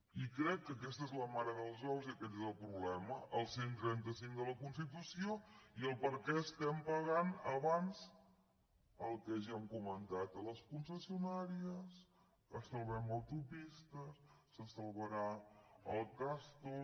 i crec que aquesta és la mare dels ous i aquest és el problema el cent i trenta cinc de la constitució i per què estem pagant abans el que ja hem comentat a les concessionàries salvem autopistes se salvarà el castor